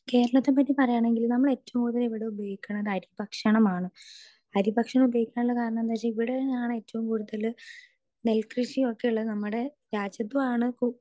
speaker 2 കേരളത്തെ പറ്റി പറയാണെങ്കിൽ നമ്മൾ ഏറ്റവും കൂടുതൽ ഇവിടെ ഉപയോഗിക്കിണത് അരിഭക്ഷണമാണ് അരിഭക്ഷണം ഉപയോഗിക്കാനുള്ള കാരണം എന്താ വെച്ചാൽ ഇവിടെയാണ് ഏറ്റവും കൂടുതല് നെൽകൃഷി ഒക്കെ ഉള്ളത് നമ്മടെ രാജ്യത്തുമാണ്